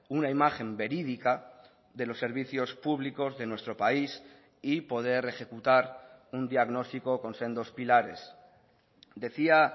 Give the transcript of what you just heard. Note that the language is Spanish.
una imagen verídica de los servicios públicos de nuestro país y poder ejecutar un diagnóstico con sendos pilares decía